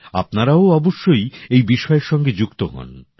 আপনারাও অবশ্যই এই বিষয়ের সঙ্গে যুক্ত হোন